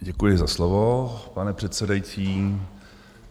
Děkuji za slovo, pane předsedající.